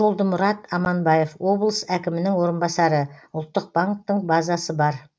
жолдымұрат аманбаев облыс әкімінің орынбасары ұлттық банктің базасы бар